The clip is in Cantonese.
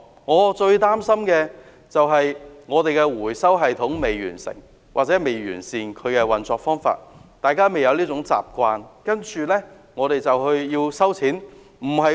我最擔心的是，我們的回收系統或運作方法根本未完善，大家未養成這種習慣，政府便說要徵費。